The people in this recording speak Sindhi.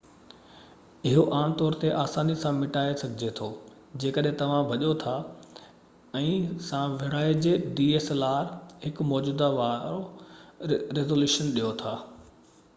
اهو عام طور تي آساني سان مٽائي سگهجي ٿو جيڪڏهن توهان ڀڄو ٿا ۽ هڪ موجوده dslr سان ويجهڙائي وارو ريزوليوشن ڏيو ٿا